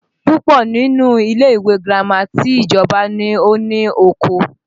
Púpọ̀ nínú ilé ìwé girama ti ìjọba ni ó ní oko